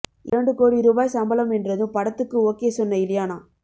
இரண்டு கோடி ரூபாய் சம்பளம் என்றதும் படத்துக்கு ஓகே சொன்ன இலியானா